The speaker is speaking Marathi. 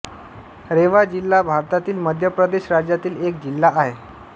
रेवा जिल्हा भारतातील मध्य प्रदेश राज्यातील एक जिल्हा आहे